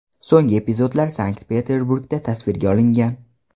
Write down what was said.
So‘nggi epizodlar Sankt-Peterburgda tasvirga olingan.